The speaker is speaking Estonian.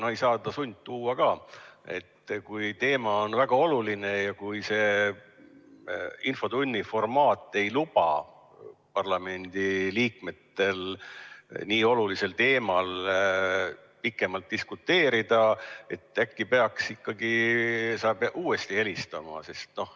No ei saa teda sundtuua ka, aga kui teema on väga oluline ja infotunni formaat ei luba parlamendiliikmetel nii olulisel teemal pikemalt diskuteerida, siis äkki sa peaksid talle uuesti helistama?